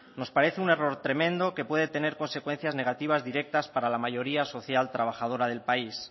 nos parece un error tremendo que puede tener consecuencias negativas directas para la mayoría social trabajadora del país